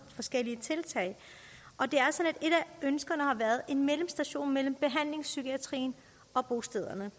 forskellige tiltag et af ønskerne har været en mellemstation mellem behandlingspsykiatrien og bostederne